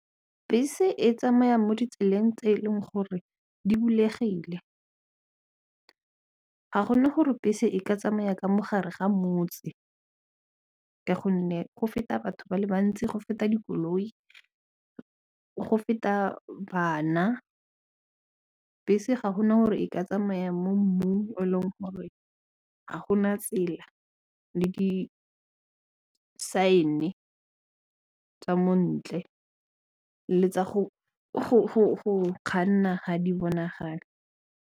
Bese e tsamayang mo ditseleng tse e leng gore di bulegile ga go na gore bese e ka tsamaya ka mo gare ga motse ka gonne go feta batho ba le bantsi, go feta dikoloi, go feta bana. Bese ga go na gore e ka tsamaya mo mmung o e leng gore ga go na tsela le disaene tsa montle le tsa go kganna ga di bonagale.